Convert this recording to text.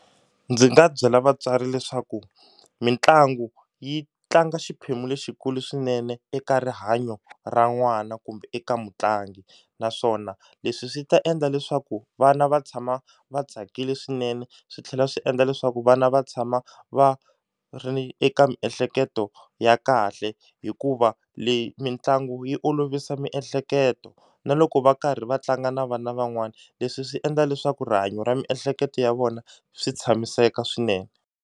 Ndzi nga byela vatswari leswaku mitlangu yi tlanga xiphemu lexikulu swinene eka rihanyo ra n'wana kumbe eka mutlangi naswona leswi swi ta endla leswaku vana va tshama va tsakile swinene swi tlhela swi endla leswaku vana va tshama va ri eka miehleketo ya kahle hikuva leyi mitlangu yi olovisa miehleketo na loko va karhi va tlanga na vana van'wani leswi swi endla leswaku rihanyo ra miehleketo ya vona swi tshamiseka swinene.